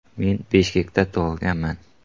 Men Bishkekda tug‘ilganman.